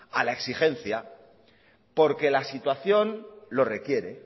a la exigencia porque la situación lo requiere